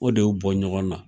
O de y'u bɔ ɲɔgɔn na.